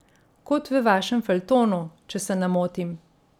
Kot v vašem feljtonu, če se ne motim?